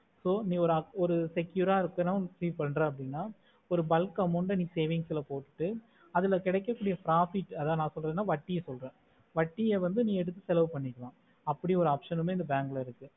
so நீ ஒரு secure ஆஹ் இருக்கும் அப்புடின்னு பன்றேனா ஒரு bulk amount ஆஹ் நீ savings ல போடு அதுல கெடக்கக்கூடிய profit அதன் ந சொல்லறேனா வட்டியே சொல்லற வட்டியே வந்து நீ எடுத்து செலவு பண்ணிக்கலாம் அந்த மாதிரி ஒரு option மே இந்த bank ல இருக்கு